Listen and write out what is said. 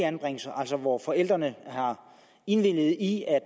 anbringelser hvor forældrene har indvilget i at